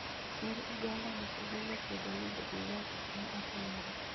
Kerr Uganda Museveni okwedo ni Bobi Wine ok ne ohinyore